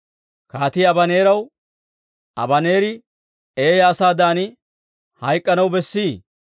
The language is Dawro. Kaatii Abaneeraw, «Abaneeri eeyaa asaadan hayk'k'anaw bessii?